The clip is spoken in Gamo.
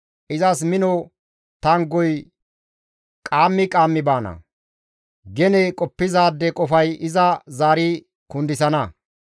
Izas mino tanggoy qaammi qaammi baana; gene qoppizaade qofay iza zaari kundisana.